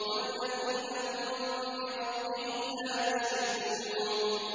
وَالَّذِينَ هُم بِرَبِّهِمْ لَا يُشْرِكُونَ